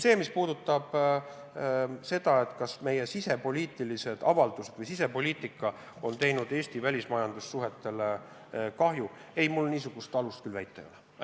Mis puudutab seda, kas meie sisepoliitika on teinud Eesti välismajandussuhetele kahju, siis mul alust seda väita küll ei ole.